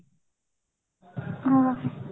ହଁ